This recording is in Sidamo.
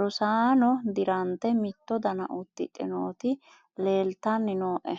rosaano dirante mitto dana uddidhe nooti leeltanni nooe